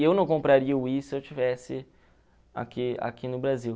E eu não compraria o Wii se eu estivesse aqui aqui no Brasil.